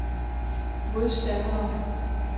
modstandere